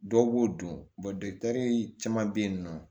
Dɔw b'o dun caman be yen nɔ